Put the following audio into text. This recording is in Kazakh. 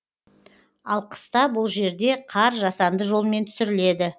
ал қыста бұл жерде қар жасанды жолмен түсіріледі